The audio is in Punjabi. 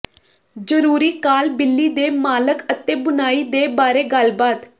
ਜ਼ਰੂਰੀ ਕਾਲ ਬਿੱਲੀ ਦੇ ਮਾਲਕ ਅਤੇ ਬੁਣਾਈ ਦੇ ਬਾਰੇ ਗੱਲਬਾਤ